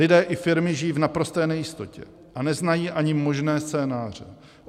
Lidé i firmy žijí v naprosté nejistotě a neznají ani možné scénáře.